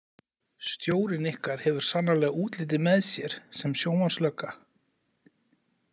Stjórinn ykkar hefur sannarlega útlitið með sér sem sjónvarpslögga.